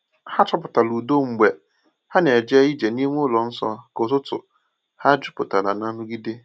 Ha chọpụtara udo mgbe ha na-eje ije n’ime ụlọ nsọ ka ụtụtụ ha juputara n’ nrụgide.